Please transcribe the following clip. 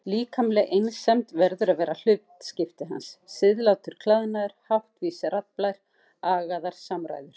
Líkamleg einsemd verður að vera hlutskipti hans, siðlátur klæðnaður, háttvís raddblær, agaðar samræður.